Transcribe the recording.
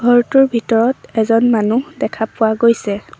ঘৰটোৰ ভিতৰত এজন মানুহ দেখা পোৱা গৈছে।